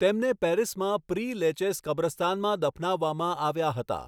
તેમને પેરિસમાં Pere Lachaise કબ્રસ્તાનમાં દફનાવવામાં આવ્યા હતા.